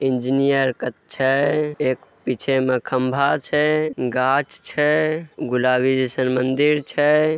Engineer क छै एक पीछे में खम्बा छै गाछ छै गुलाबी जइसन मंदिर छै।